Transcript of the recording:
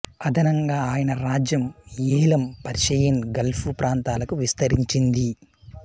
అదనంగా ఆయన రాజ్యం ఏలాం పర్షియన్ గల్ఫు ప్రాంతాలకు విస్తరించింది